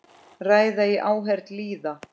Ræða í áheyrn lýða.